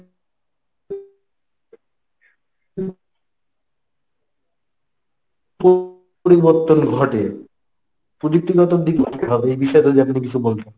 প~ পরিবর্তন ঘটে পযুক্তিগত দিক এই বিষয়ে যদি আপনি কিছু বলতেন।